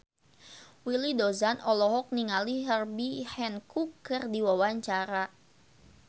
Willy Dozan olohok ningali Herbie Hancock keur diwawancara